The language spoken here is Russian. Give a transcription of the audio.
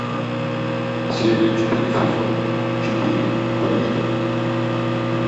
серия четыре сезон четыре барвиха